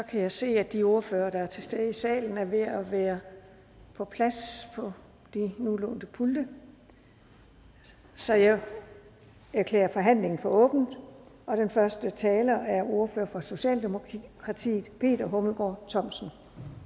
jeg se at de ordførere der er til stede i salen er ved at være på plads på de nu lånte pulte så jeg erklærer forhandlingen for åbnet og den første taler er ordfører for socialdemokratiet peter hummelgaard thomsen